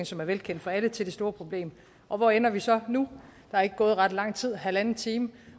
som er velkendt for alle til det store problem og hvor ender vi så nu der er ikke gået ret lang tid halvanden time